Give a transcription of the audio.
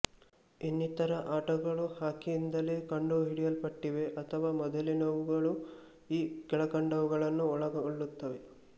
ಇನ್ನಿತರ ಆಟಗಳು ಹಾಕಿಯಿಂದಲೇ ಕಂಡುಹಿಡಿಯಲ್ಪಟ್ಟಿವೆ ಅಥವಾ ಮೊದಲಿನವುಗಳು ಈ ಕೆಳಕಂಡವುಗಳನ್ನು ಒಳಗೊಳ್ಳುತ್ತವೆ